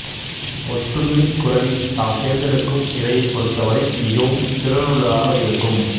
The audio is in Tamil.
ஒட்டுண்ணிக் குளவி தாம் தேர்ந்தெடுக்கும் இரையைப் பொறுத்தவரை மிகவும் திறனுள்ளதாக இருக்கும்